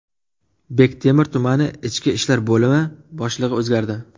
Bektemir tumani ichki ishlar bo‘limi boshlig‘i o‘zgardi.